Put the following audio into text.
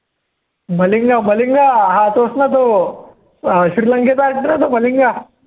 मलिंगा मलिंग हा तोच ना तो अं श्रीलंकेचा तो श्रीलंकेचा